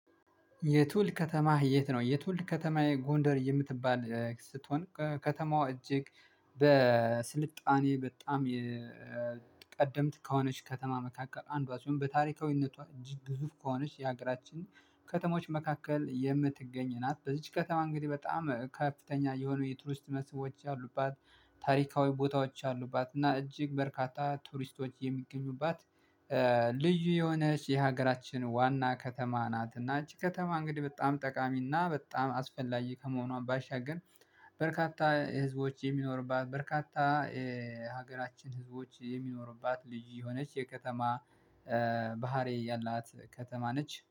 የትውልድ ከተማህ የት ነው? የትውልድ ከተማዬ ጎንደር የምትባል ስትሆን ከተማዋ እጅግ በጣም የቀደምት ከሆነች ከተማ መካከል አንዷ ሲሆን በታሪካዊነቷ እጅግ ግዙፍ ከሆነች የሀገራችን ከተሞች መካከል የምትገኝ ናት በዚህች ከተማ እንግዲህ በጣም ከፍተኛ የሆኑ የቱሪስት ሰዎች ያሉባት ታሪካዊ ቦታዎች አሉባት እና እጅግ በርካታ ቱሪስቶች የሚገኙባት ልዩ የሆነች የሀገራችን ዋና ከተማ ናት እና እቺ ከተማ እንግዲህ በጣም ጠቃሚና በጣም አስፈላጊ ከመሆኗ ባሻገር በርካታ ህዝቦች የሚኖርባት በርካታ ሀገራችን ህዝቦች የሚኖሩባት ልዩ የሆነች የከተማ ባህሪ ያላት ከተማ ነች